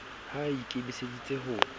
ha e i kemiseditse ho